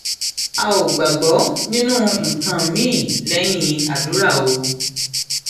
a ò gbàgbọ nínú nǹkan miín lẹyìn àdúrà o